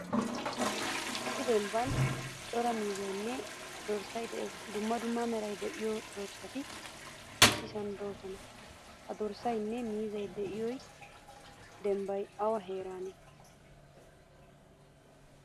Issi demban cora miizzaynne dorssay de'ees. Dumma dumma meray de'iyo dorssati issisan deosona. Ha dorssaynne miizzay de'iyo dembay awa heerane?